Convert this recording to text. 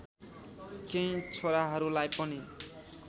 केही छोराहरूलाई पनि